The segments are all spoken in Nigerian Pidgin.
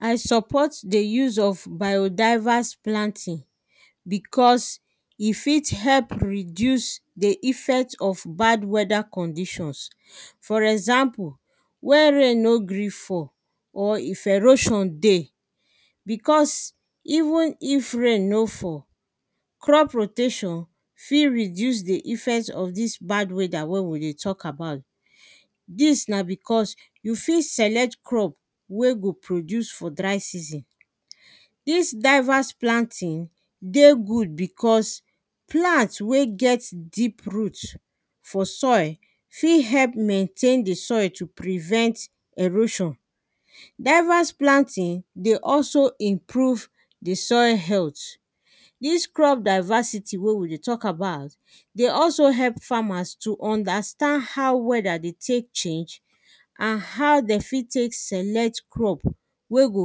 I support di use of biodiverse planting, because e fit help reduce di effect of bad wheather conditions. For example, wen rain no gree fall, or if erosion dey, because, even if rain no fall, crop rotation fi reduce di effect of dis bad whether wey we dey talk about. Dis na because, you fi select crop wey go produce for dry season. Dis diverse planting, dey good because plant wey get deep root for soil, fi help maintain di soil to prevent erosion. Diverse planting, dey also improve di soil health. Dis crop diversity wey we dey talk about, dey also help farmers to understand how whether dey take change and how dem fit take select crop wey go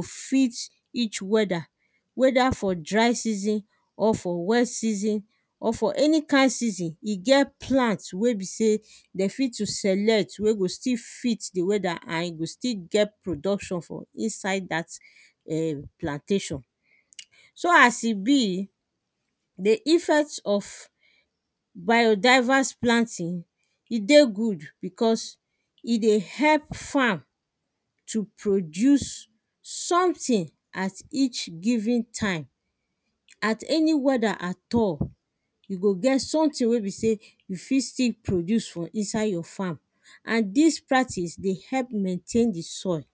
fit each wheather, whether for dry season, or for wet season, or for any kind season. E get plant wey be sey, dem fit to select wey go still fit di wheather and e go still get production for inside dat um plantation. So as e be, di effect of biodiverse planting, e dey good, because e dey help farm to produce something, at each given time. At any wheather at all, e go get something wey be sey, you fi still produce for inside your farm, and dis practice dey help maintain di soil.